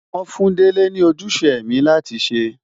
Wọ́n fún Dele ní ojúṣe ẹ̀mí láti ṣe.